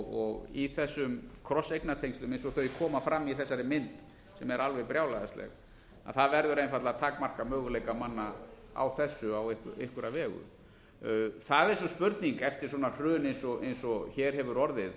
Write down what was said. og í þessum krosseigna tengslum eins og þau koma fram í þessari mynd sem er alveg brjálæðisleg það verður einfaldlega að takmarka möguleika manna á þessu á einhverja vegu það er svo spurning eftir svona hrun eins og hér hefur orðið